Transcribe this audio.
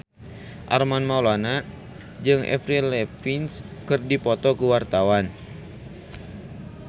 Armand Maulana jeung Avril Lavigne keur dipoto ku wartawan